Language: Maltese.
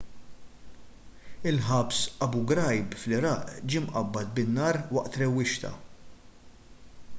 il-ħabs abu ghraib fl-iraq ġie mqabbad bin-nar waqt rewwixta